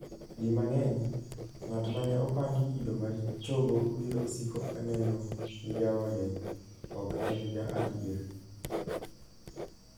Di mang'eny, ng'at mane opandi kido marichogo biro siko kaneno ni jaode ok en ja adier.